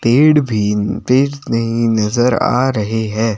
पेड़ भी नजर आ रहे है।